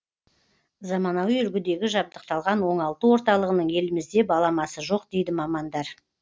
заманауи үлгідегі жабдықталған оңалту орталығының елімізде баламасы жоқ дейді мамандар